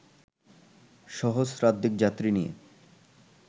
সহশ্রাধিক যাত্রী নিয়ে